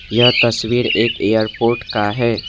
यह तस्वीर एक एरपोर्ट का है।